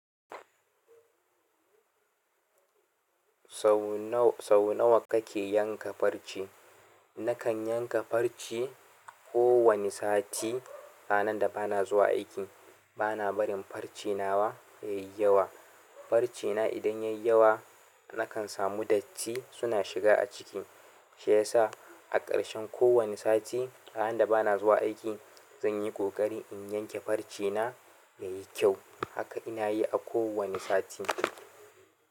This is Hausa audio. Sau nawa kake yanka farce? Nakan yanka farce kowane sati ranar da bana zuwa aiki. Bana barin farce nawa yai yawa. Farcena idan yai yawa nakan samu datti suna shiga a ciki. Shi yasa a ƙarshen kowane sati ranan da bana zuwa aiki zan yi ƙoƙari in yanke farce na yayi kyau. Haka ina yi a kowane sati.